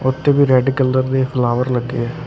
ਉਥੇ ਵੀ red colour ਦੇ ਫਲਾਵਰ ਲੱਗੇ ਹਨ ।